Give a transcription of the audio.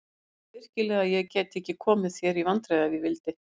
Heldurðu virkilega að ég gæti ekki komið þér í vandræði ef ég vildi?